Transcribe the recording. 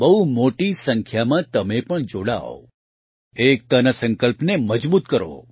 બહુ મોટી સંખ્યામાં તમે પણ જોડાવ એકતાના સંકલ્પને મજબૂત કરો